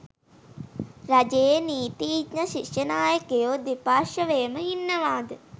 රජයේ නීතිඥ ශිෂ්‍ය නායකයෝ දෙපාර්ශ්වයම ඉන්නවාද?